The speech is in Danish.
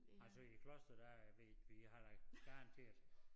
Altså i Kloster der er vi vi har da garanteret